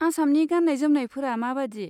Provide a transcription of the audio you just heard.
आसामनि गान्नाय जोमनायफोरा माबादि?